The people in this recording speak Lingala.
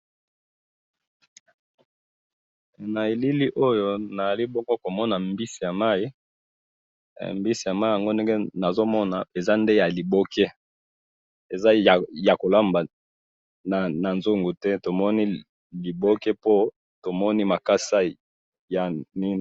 he na elili awa nazali bongo komona mbisi ya mayi mbisi ya mayi ezali bongo nde nazomona eza ya liboke eza ya mkolamba na nzugu te po tomoni liboke ya makasa